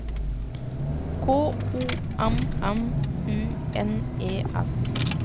K O M M U N E S